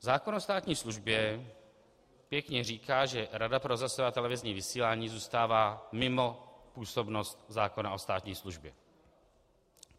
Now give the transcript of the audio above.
Zákon o státní službě pěkně říká, že Rada pro rozhlasové a televizní vysílání zůstává mimo působnost zákona o státní službě.